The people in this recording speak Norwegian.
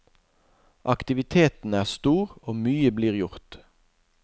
Aktiviteten er stor og mye blir gjort.